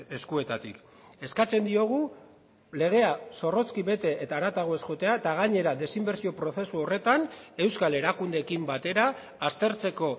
eskuetatik eskatzen diogu legea zorrozki bete eta haratago ez joatea eta gainera desinbertsio prozesu horretan euskal erakundeekin batera aztertzeko